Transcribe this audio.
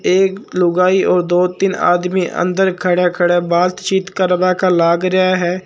एक लुगाई और दो तीन आदमी अन्दर खडया खडया बातचीत करवा का लाग रया हैं।